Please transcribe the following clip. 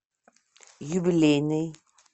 юбилейный